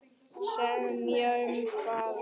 Semja um hvað?